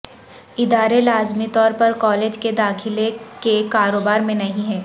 ادارے لازمی طور پر کالج کے داخلے کے کاروبار میں نہیں ہیں